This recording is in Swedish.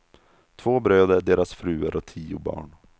Två bröder, deras fruar och tio barn.